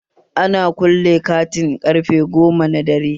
Ana kulle kantin ƙarfe goma na dare